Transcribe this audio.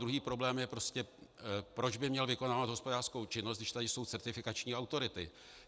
Druhý problém je prostě, proč by měl vykonávat hospodářskou činnost, když tady jsou certifikační autority.